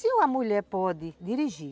Se uma mulher pode dirigir,